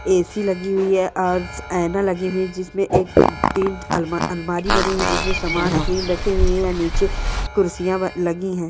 ए.सी. लगी हुई है और आईना लगे हुए हैं जिसमें एक तीन अलमारी बनी हुई है जिसमें सामान क्रीम रखी हुई है नीचे कुर्सियां रखी हुई है।